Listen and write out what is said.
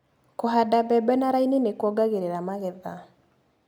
Kũhanda mbembe na raini nĩkuongagĩrĩra magetha.